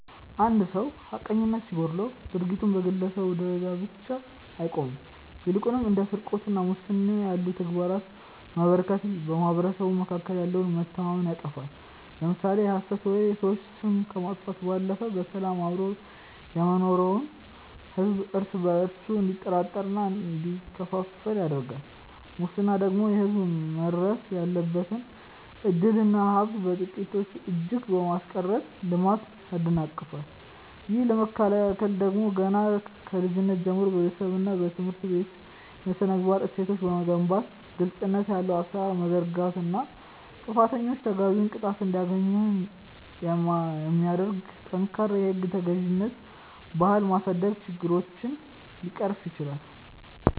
አንድ ሰው ሐቀኝነት ሲጎድለው ድርጊቱ በግለሰብ ደረጃ ብቻ አይቆምም ይልቁንም እንደ ስርቆትና ሙስና ያሉ ተግባራት መበራከት በማኅበረሰቡ መካከል ያለውን መተማመን ያጠፋሉ። ለምሳሌ የሐሰት ወሬ የሰዎችን ስም ከማጥፋቱም ባለፈ በሰላም አብሮ የሚኖረውን ሕዝብ እርስ በእርሱ እንዲጠራጠርና እንዲከፋፈል ያደርጋል ሙስና ደግሞ ለሕዝብ መድረስ ያለበትን ዕድልና ሀብት በጥቂቶች እጅ በማስቀረት ልማትን ያደናቅፋል። ይህንን ለመከላከል ደግሞ ገና ከልጅነት ጀምሮ በቤተሰብና በትምህርት ቤት የሥነ-ምግባር እሴቶችን መገንባት ግልጽነት ያለው አሠራር መዘርጋትና ጥፋተኞች ተገቢውን ቅጣት እንዲያገኙ የሚያደርግ ጠንካራ የሕግ ተገዥነት ባህል ማሳደግ ችግሮችን ሊቀርፍ ይችላል።